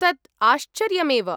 तत् आश्चर्यमेव।